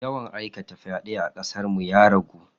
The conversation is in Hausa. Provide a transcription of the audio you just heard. Yawan aikata fyade a kasar ya ragu.